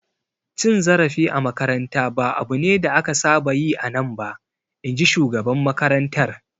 Cin zarafi a makaranta ba abu ne da aka saba yi a nan ba, in ji shugaban makarantar.